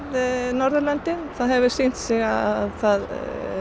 Norðurlöndin það hefur sýnt sig að það